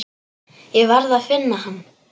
Ég varð að finna hann.